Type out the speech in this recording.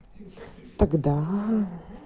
тогда